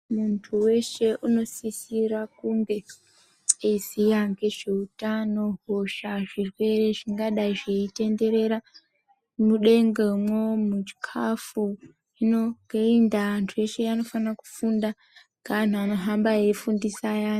Muntu weshe unosisira kunge eiziya ngezveutano, hosha, zvirwere zvingadai zvinotenderera mudengemwo, muchikafu. Hino ngeiyi ndaa, antu unofana kufunda ngeanhu anohamba eifundisa ayani.